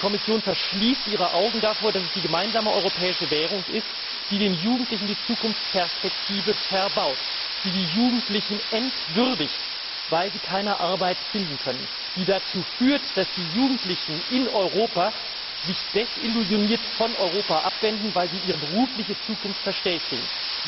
Die Kommission verschließt ihre Augen davor, dass es die gemeinsame europäische Währung ist, die den Jugendlichen die Zukunftsperspektive verbaut, die die Jugendlichen entwürdigt, weil sie keine Arbeit finden können, die dazu führt, dass die Jugendlichen in Europa sich desillusioniert von Europa abwenden, weil sie ihre berufliche Zukunft verstellt sehen.